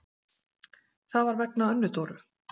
Það var vegna Önnu Dóru.